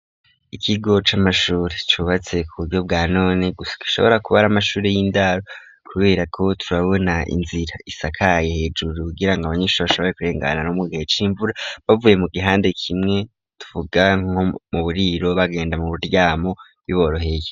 Ikigo c'amashuri cubatse ku buryo bwa none gusa gishobora kuba ari amashuri y'indaro kubera ko turabona inzira isakaye hejuru kugirango abanyeshuri bashobore kurengana no mugihe c'imvura bavuye mu gihande kimwe tuvuga nko mu buriro bagenda mu buryamo biboroheyo.